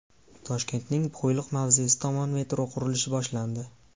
Toshkentning Qo‘yliq mavzesi tomon metro qurilishi boshlandi.